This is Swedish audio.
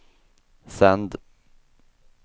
sänd